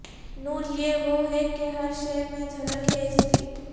نور یہ وہ ہے کہ ہر شئے میں جھلک ہے اسکی